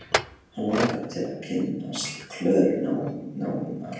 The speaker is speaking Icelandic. Hann langar til að kynnast Klöru nánar.